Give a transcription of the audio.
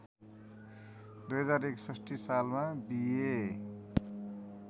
२०६१ सालमा बिए